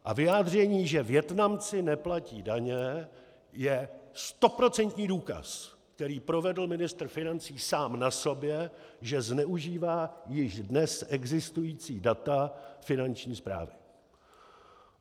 A vyjádření, že Vietnamci neplatí daně, je stoprocentní důkaz, který provedl ministr financí sám na sobě, že zneužívá již dnes existující data finanční správy.